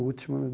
Último